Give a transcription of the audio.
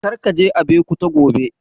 Kar ka je Abeokuta gobe!